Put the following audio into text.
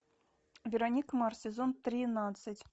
вероника марс сезон тринадцать